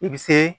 I bɛ se